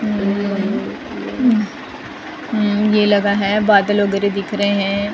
उम्म मं उम ये लगा है बादल वगैरह दिख रहे है --